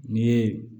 Ni ye